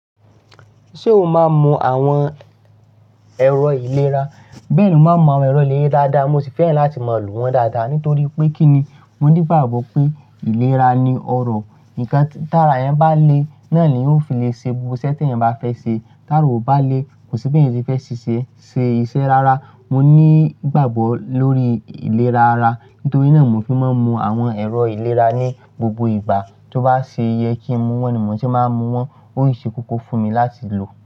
Ṣé o máa ń mu àwọn ẹ̀rọ ìlera? Bẹ́ẹ̀ ni mo máa ń mu àwọn ẹ̀rọ ìlera dáadáa, mo sì fẹ́ràn láti máa lò wọ́n dáadáa. Nítorí pé kí ni? Mo ní ìgbàgbọ́ pé ìlera ni ọrọ̀, nǹkan tára yẹn bá le, náà ni ó fi lè ṣe gbogbo iṣẹ́ tí ẹ̀yin bá fẹ́ ṣe. Tára o bá le, kò sí bí ẹ̀yin ti fẹ́ ṣiṣẹ́ ṣe iṣẹ́ rárá. Mo ní ìgbàgbọ́ lórí ìlera ara, nítorí náà mo fi máa ń mu àwọn ẹ̀rọ ìlera ní gbogbo ìgbà. Tó bá ṣe yẹ kí n mu wọ́n ni mo ṣe máa ń mu wọ́n, ó ì ṣe kókó fún mi láti lò.